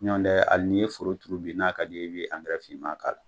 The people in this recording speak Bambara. Ɲɔndɛ hali n'i ye foroturu bi n'a ka di ye, i bi finman k'a la.